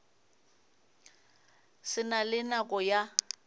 se na le nako ya